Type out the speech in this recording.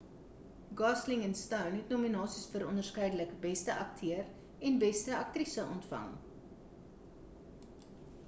gosling en stone het nominasies vir onderskeidelik beste akteur en beste aktrise ontvang